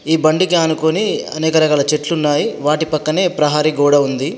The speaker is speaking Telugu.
ఈ బండికి ఆనుకొని అనేక రకాల చెట్లు ఉన్నాయి. వాటి పక్కనే ప్రహరీ గోడ ఉంది.